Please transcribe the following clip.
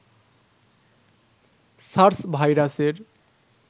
SARS ভাইরাসের